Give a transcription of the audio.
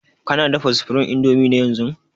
Kana dafa supreme indomie ne yanzun>